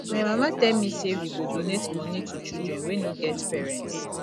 my mama tell me say we go donate money to children wey no get parents